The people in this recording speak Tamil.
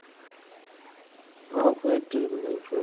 ஆஹ் போயிட்டு இருக்குது life